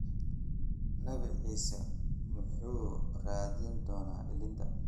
Nabii Issa maxu radhindhonta ilinta.